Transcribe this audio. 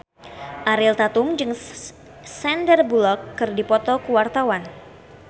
Ariel Tatum jeung Sandar Bullock keur dipoto ku wartawan